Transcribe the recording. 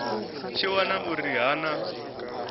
tshi wana uri ha na